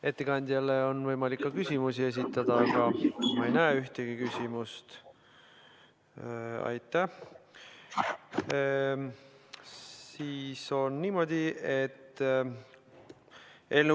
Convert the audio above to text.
Ettekandjale on võimalik küsimusi esitada, aga ma ei näe ühtegi soovi.